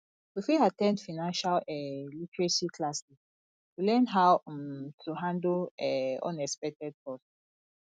we fit at ten d financial um literacy classes to learn how um to handle um unexpected costs